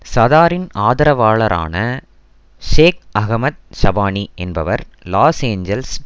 சதாரின் ஆதரவாளரான Sheikh Ahmed Shabani என்பவர் Los Angeles